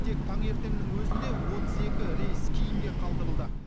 тек таңертеңнің өзінде отыз екі рейс кейінге қалдырылды